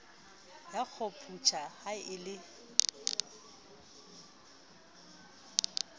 ya khompyutha ha e le